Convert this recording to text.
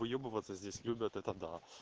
выебываться здесь любят это да